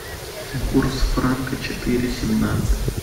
курс франка четыре семнадцать